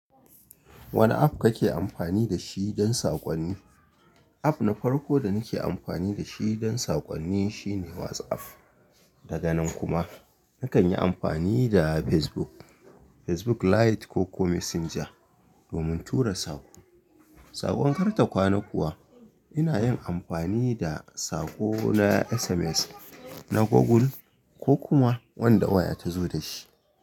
Wane app kake amfani da shi don saƙonni? App na farko da nake amfani da shi don saƙonni shine WhatsApp. Daga nan kuma, na kan yi amfani da Facebook, Facebook Lite ko kuma Messenger domin tura saƙo. Saƙon kar ta kwana kuwa, ina yin amfani da saƙo na SMS, na Google ko kuma wanda waya ta zo da shi.